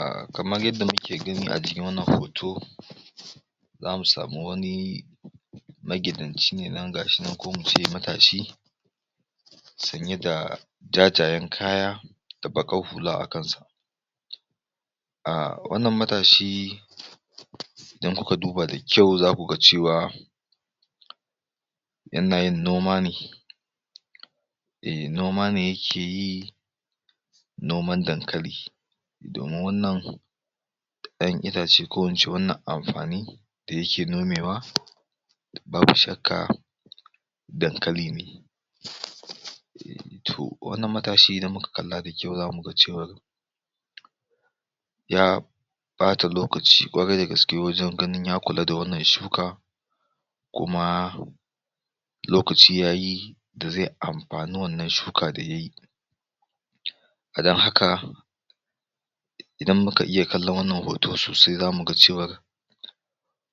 um kamar yanda muke gani a jikin wannan hoto zamu samu wani magidanci ne nan ko mu ce matashi sanye da ja-jayen kaya da baƙar hula a kansa um wannan matashi idan kuka duba da kyau zaku ga cewa yana yin noma ne eh noma ne yake yi noman dankali domin wannan ƴaƴan itace ko in ce wannan amfani da yake nomewa babu shakka dankali ne to wannan matashi idan muka kalla da kyau zamu ga cewa ya ɓata lokaci ƙwarai da gaske wajen ganin ya kula da wannan shuka kuma lokaci yayi da ze amfani wannan shuka da yayi dan haka idan muka iya kallon wannan hoto sosai zamu ga cewar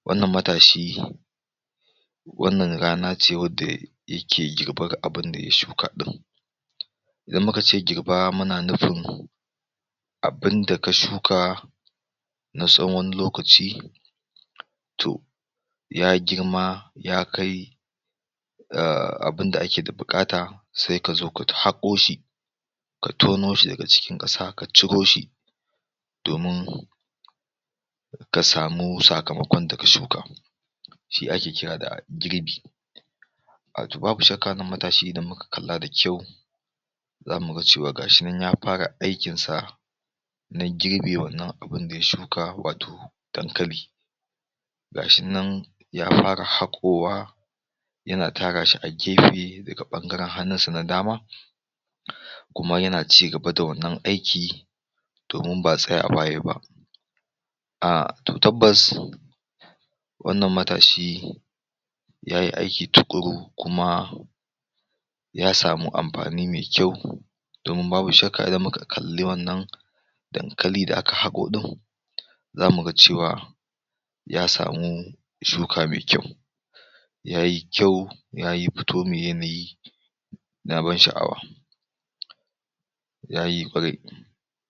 wannan matashi wannan rana ce wanda yake girbar abunda ya shuka ɗin idan muka ce girba muna nufin abunda ka shuka na tsawon wani lokaci to ya girma ya kai um abunda ake da buƙata se ka zo ka ta haƙo shi ka tono shi daga cikin ƙasa ka ciro shi domin ka samu sakamakon da ka shuka shi ake kira da girbi wato babu shakka wannan matashi idan muka kalla da kyau zamu ga cewa ga shi nan ya fara aikin sa na girbe wannan abun da ya shuka wato dankali ga shi nan ya fara haƙowa yana tara shi a gefe daga ɓangaren hannun sa na dama kuma yana cigaba da wannan aiki domin ba tsayawa yayi ba um to tabbas wannan matashi yayi aiki tuƙuru kuma ya samu amfani me kyau domin babu shakka idan muka kalli wannan dankali da aka haƙo ɗin zamu ga cewa ya samu shuka me kyau yayi kyau yayi fito me yanayi na ban sha'awa yayi